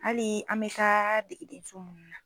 Hali an mɛ taa degedenso munnu na.